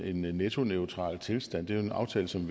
en nettoneutral tilstand er en aftale som